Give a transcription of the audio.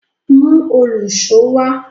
Mú òlùṣó wá!